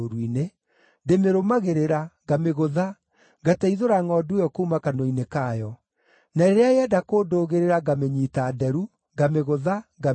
ndĩmĩrũmagĩrĩra, ngamĩgũtha, ngateithũra ngʼondu ĩyo kuuma kanua-inĩ kayo. Na rĩrĩa yenda kũndũgĩrĩra ngamĩnyiita nderu, ngamĩgũtha, ngamĩũraga.